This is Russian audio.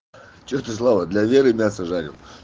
что ты слава для веры мясо жарил